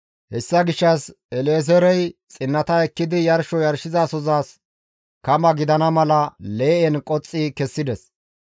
Hessa gishshas El7ezeerey xinnata ekkidi yarsho yarshizasozas kama gidana mala lee7en qoxxi kessides.